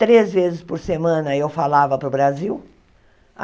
Três vezes por semana eu falava para o Brasil.